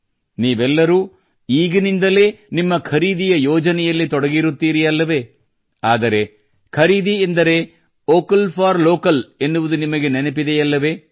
ನೀವೆಲ್ಲರೂ ಈಗಿನಿಂದಲೇ ನಿಮ್ಮ ಖರೀದಿಯ ಯೋಜನೆಯಲ್ಲಿ ತೊಡಗಿರುತ್ತೀರಲ್ಲವೇ ಆದರೆ ಖರೀದಿ ಎಂದರೆ ವೋಕಲ್ ಫಾರ್ ಲ್ಲೋಕಲ್ ಎನ್ನುವುದು ನಿಮಗೆ ನೆನಪಿದೆಯಲ್ಲವೇ